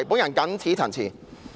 我謹此陳辭。